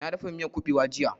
Na dafa miyan ƙubewa jiya